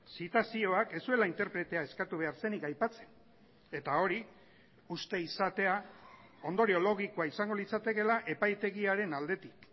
zitazioak ez zuela interpretea eskatu behar zenik aipatzen eta hori uste izatea ondorio logikoa izango litzatekeela epaitegiaren aldetik